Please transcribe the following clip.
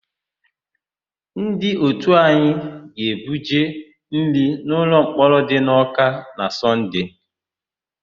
Ndị òtù anyị ga-ebuje nri n'ụlọmkpọrọ dị n'Ọ́ká na Sọnde.